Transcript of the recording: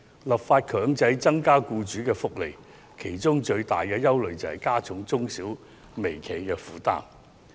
立法強制增加僱員福利惹來最大的憂慮之一，是會加重中小企和微企的負擔。